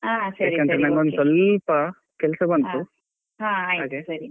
ಯಾಕಂದ್ರೆ ನಂಗೊಂದು ಸ್ವಲ್ಪ ಬಂತು ಹಾಗೆ.